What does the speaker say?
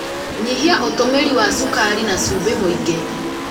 Nyihia ũtũmĩri wa cukari na cumbĩ mwĩingĩ.